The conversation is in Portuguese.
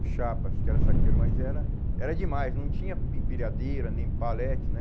O Chapas, que era saqueiro, mas era era demais, não tinha empilhadeira, nem palete, né?